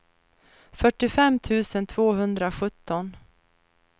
fyrtiofem tusen tvåhundrasjutton